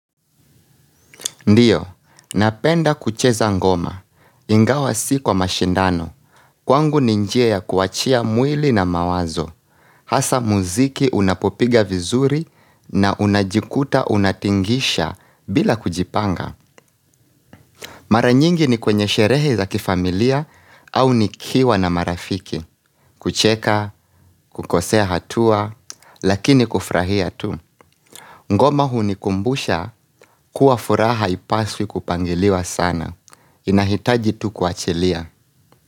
Ndiyo, napenda kucheza ngoma. Ingawa si kwa mashindano. Kwangu ni njia ya kuachia mwili na mawazo. Hasa muziki unapopiga vizuri na unajikuta unatingisha bila kujipanga. Mara nyingi ni kwenye sherehe za kifamilia au nikiwa na marafiki. Kucheka, kukosea hatua, lakini kufrahia tu. Ngoma hunikumbusha kuwa furaha haipaswi kupangiliwa sana. Inahitaji tu kuachilia.